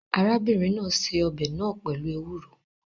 Arábìnrin náà se ọbẹ̀ náà pẹ̀lú ewuro